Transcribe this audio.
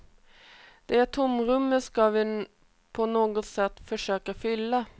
Det tomrummet ska vi på något sätt försöka fylla.